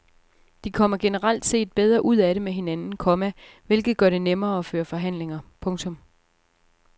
De kommer generelt set bedre ud af det med hinanden, komma hvilket gør det nemmere at føre forhandlinger. punktum